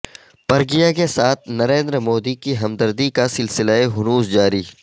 پرگیا کے ساتھ نریندر مودی کی ہمدردی کاسلسلہ ہنوز جاری